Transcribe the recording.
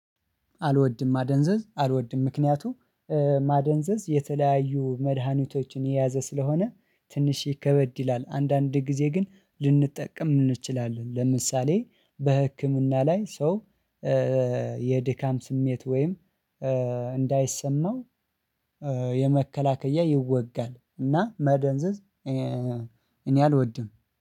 አልወድም ማደንዘዝ አልወድም ምክንያቱም ማደንዘዝ የተለያዩ መደሃኒቶችን የያዘ ስለሆነ ትንሽ ከበድ ይላል። አንድ አንድ ጊዜ ግን ልንጠቀም አንችላለን። ለምሳሌ በህክምና ላይ ሰው የድካም ስሜት ወይም አንዳይሰማው የመከላኪያ ይወጋል እና ማደንዘዝ እኔ አልወድም።